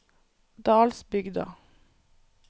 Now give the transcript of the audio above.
Dalsbygda